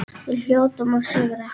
Við hljótum að sigra